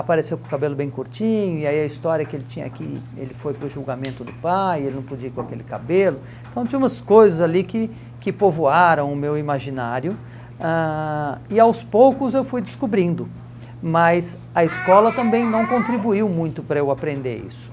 apareceu com o cabelo bem curtinho, e aí a história que ele tinha que ele foi para o julgamento do pai, ele não podia ir com aquele cabelo, então tinha umas coisas ali que que povoaram o meu imaginário, ãh e aos poucos eu fui descobrindo, mas a escola também não contribuiu muito para eu aprender isso.